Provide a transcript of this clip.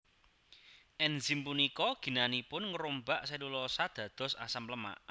Enzim punika ginanipun ngrombak selulosa dados asam lemak